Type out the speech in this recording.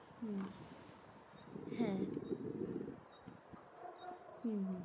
হম হ্যাঁ, হম